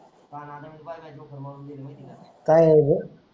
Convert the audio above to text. काय आहे बे